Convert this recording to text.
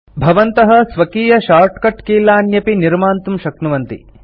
भवन्तः स्वकीय शार्टकट कीलान्यपि निर्मान्तुं शक्नुवन्ति